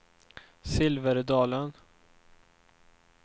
Silverdalen